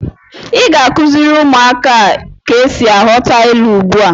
Ị ga-akụziri ụmụaka a ka esi aghọta ilu ugbu a!